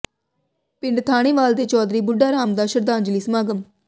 ਪਿੰਡ ਥਾਣੇਵਾਲ ਦੇ ਚੌਧਰੀ ਬੁੱਢਾ ਰਾਮ ਦਾ ਸ਼ਰਧਾਂਜਲੀ ਸਮਾਗਮ